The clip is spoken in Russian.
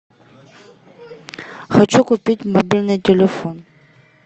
хочу купить мобильный телефон